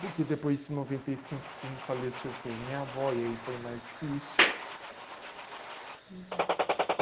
Porque depois em noventa e cinco quem faleceu foi minha avó e aí foi mais difícil. Uhum.